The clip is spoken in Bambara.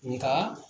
Nka